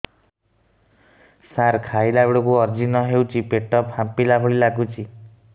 ସାର ଖାଇଲା ବେଳକୁ ଅଜିର୍ଣ ହେଉଛି ପେଟ ଫାମ୍ପିଲା ଭଳି ଲଗୁଛି